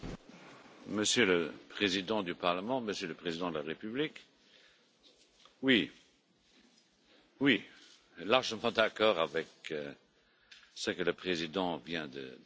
Monsieur le Président du Parlement, Monsieur le Président de la République, je suis largement d'accord avec ce que le président vient de dire.